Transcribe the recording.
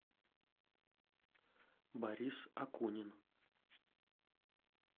борис акунин